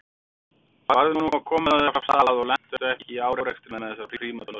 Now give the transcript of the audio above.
Farðu nú að koma þér af stað og lentu ekki í árekstri með þessar prímadonnur